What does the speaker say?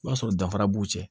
O b'a sɔrɔ danfara b'u cɛ